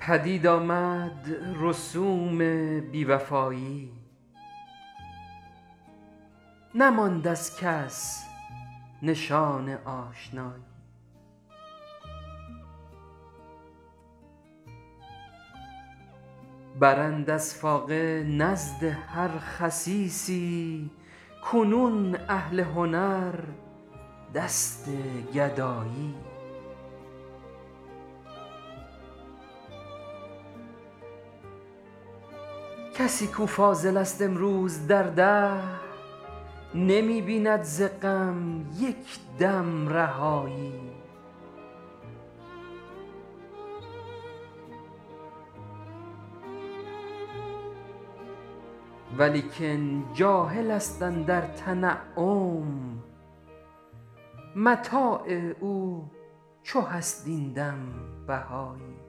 پدید آمد رسوم بی وفایی نماند از کس نشان آشنایی برند از فاقه نزد هر خسیسی کنون اهل هنر دست گدایی کسی کـ او فاضل است امروز در دهر نمی بیند زغم یک دم رهایی ولیکن جاهل است اندر تنعم متاع او چو هست این دم بهایی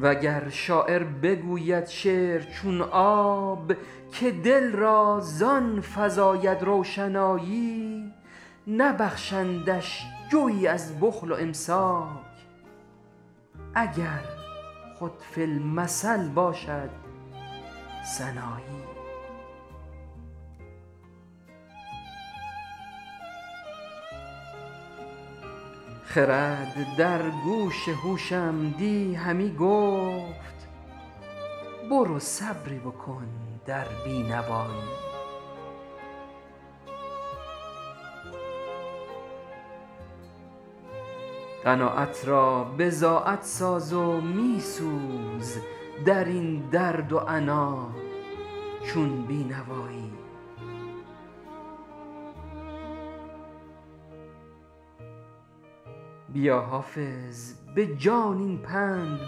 وگر شاعر بگوید شعر چون آب که دل را زآن فزاید روشنایی نبخشندش جویی از بخل و امساک اگر خود فی المثل باشد سنایی خرد در گوش هوشم دی همی گفت برو صبری بکن در بینوایی قناعت را بضاعت ساز و می سوز در این درد و عنا چون بی نوایی بیا حافظ به جان این پند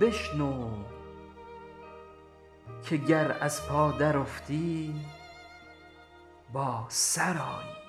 بشنو که گر از پا درافتی با سر آیی